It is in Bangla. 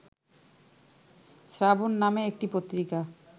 শ্রাবণ নামে একটি পত্রিকা